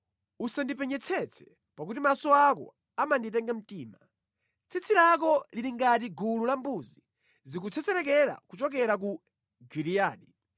Usandipenyetsetse; pakuti maso ako amanditenga mtima. Tsitsi lako lili ngati gulu la mbuzi zikutsetsereka kuchokera ku Giliyadi.